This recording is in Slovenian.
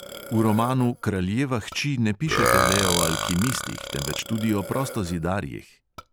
V romanu kraljeva hči ne pišete le o alkimistih, temveč tudi o prostozidarjih.